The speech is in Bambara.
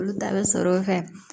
Olu ta bɛ sɔrɔ o fɛ